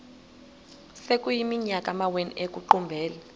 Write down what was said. sekuyiminyaka amawenu ekuqumbele